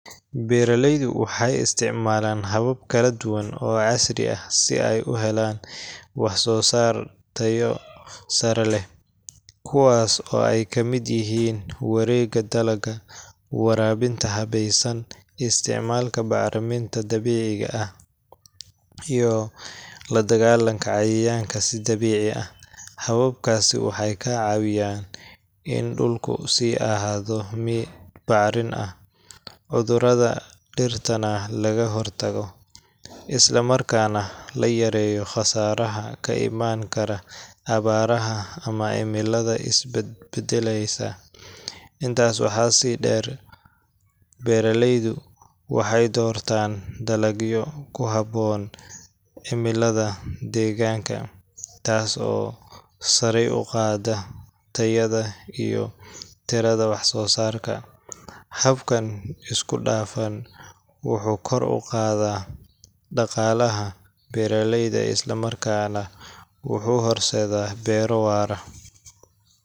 Beeraleydu waxay isticmaalaan habab kala duwan oo casri ah si ay u helaan wax-soosaar tayo sare leh, kuwaas oo ay ka mid yihiin wareegga dalagga, waraabinta habaysan, isticmaalka bacriminta dabiiciga ah, iyo la-dagaallanka cayayaanka si dabiici ah. Hababkaasi waxay ka caawiyaan in dhulku sii ahaado mid bacrin ah, cudurrada dhirtana laga hortago, isla markaana la yareeyo khasaaraha ka imaan kara abaaraha ama cimilada isbedbeddelaysa. Intaa waxaa dheer, beeraleydu waxay doortaan dalagyo ku habboon cimilada deegaanka, taas oo sare u qaadda tayada iyo tirada wax-soosaarka. Habkan isku-dhafan wuxuu kor u qaadaa dhaqaalaha beeraleyda isla markaana wuxuu horseedaa beero waara.